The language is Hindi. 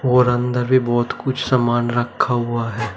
और अंदर भी बहोत कुछ सामान रखा हुआ है।